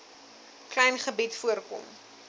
klein gebied voorkom